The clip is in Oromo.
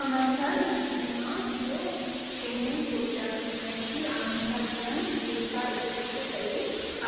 Amantaan musiliimaa biyya keenya Itoophiyaa keessatti amantaa jiran keessa isa tokko ta'ee